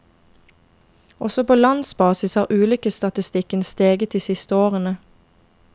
Også på landsbasis har ulykkesstatistikken steget de siste årene.